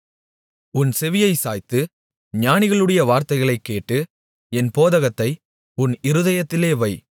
உன் செவியைச் சாய்த்து ஞானிகளுடைய வார்த்தைகளைக் கேட்டு என் போதகத்தை உன் இருதயத்தில் வை